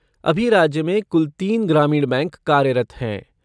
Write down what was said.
अभी राज्य में कुल तीन ग्रामीण बैंक कार्यरत हैं।